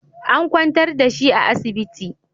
An kwantar da shi a asibiti